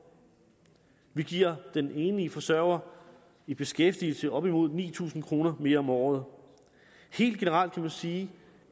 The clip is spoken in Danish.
vi giver den enlige forsørger i beskæftigelse op imod ni tusind kroner mere om året helt generelt kan man sige